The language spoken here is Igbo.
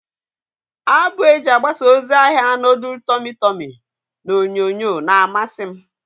Abụ eji agbasa ozi ahia nudul tọmị tọmị n'onyonyo na-amasi m.